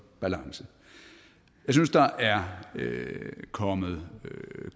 balance jeg synes der er kommet